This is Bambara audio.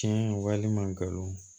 Tiɲɛ walima galon